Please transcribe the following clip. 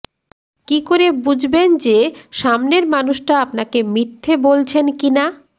কী করে বুঝবেন যে সামনের মানুষটা আপনাকে মিথ্যে বলছেন কিনা